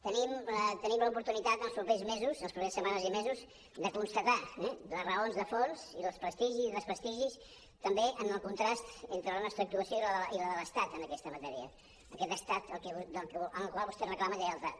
tenim l’oportunitat en els propers mesos en les properes setmanes i mesos de constatar les raons de fons i els prestigis i desprestigis també en el contrast entre la nostra actuació i la de l’estat en aquesta matèria aquest estat al qual vostè reclama lleialtat